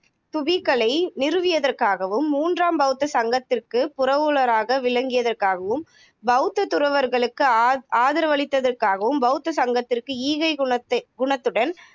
அஹ் நிச்சயமா ரச்சிதா நீங்க சொன்னதை வந்து நான் ஒரு இணையதளத்துல படிச்சுருக்கேன் ஆஹ் ஒரு பெரும் எண்ணிக்கையிலான துபி தூபிக்களை நிறுவியதற்காகவும், மூன்றாம் பௌத்த சங்கத்திற்குப் புரவலராக விளங்கியதற்காகவும், பௌத்தத் துறவர்களுக்கு ஆ ஆதரவளித்ததற்காகவும், பௌத்த சங்கத்திற்கு ஈகைக்குனத்தை குணத்துடன்